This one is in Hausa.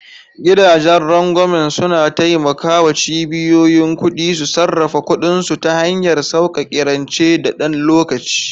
Gidajen rangwamen suna taimaka wa cibiyoyin kuɗi su sarrafa kuɗinsu ta hanyar sauƙaƙe rance na ɗan lokaci.